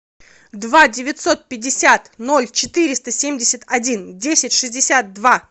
два девятьсот пятьдесят ноль четыреста семьдесят один десять шестьдесят два